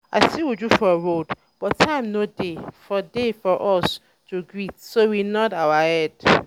i see uju for road but time no dey for dey for us to greet so we nod our head